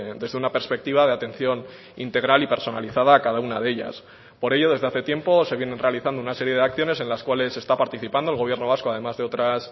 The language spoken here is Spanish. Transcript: desde una perspectiva de atención integral y personalizada a cada una de ellas por ello desde hace tiempo se vienen realizando una serie de acciones en las cuales está participando el gobierno vasco además de otras